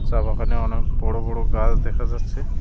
চা বাগানে অনেক বড়ো বড়ো গাছ দেখা যাচ্ছে।